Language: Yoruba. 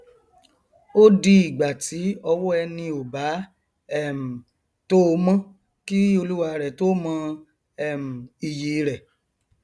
ó di ìgbà ti ọwọ ẹni ò bá um tó o mọ kí olúwarẹ tó mọ um iyì rẹ o